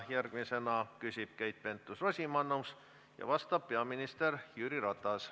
Järgmisena küsib Keit Pentus-Rosimannus ja vastab peaminister Jüri Ratas.